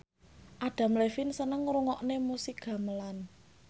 Adam Levine seneng ngrungokne musik gamelan